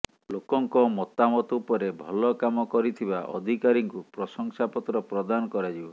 ଲୋକଙ୍କ ମତାମତ ଉପରେ ଭଲ କାମ କରିଥିବା ଅଧିକାରୀଙ୍କୁ ପ୍ରଶଂସାପତ୍ର ପ୍ରଦାନ କରାଯିବ